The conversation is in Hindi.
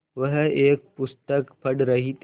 वह एक पुस्तक पढ़ रहीं थी